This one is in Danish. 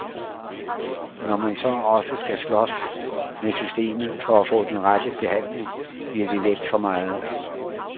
Når man så også skal slås med systemet for at få den rette behandling, bliver det let for meget.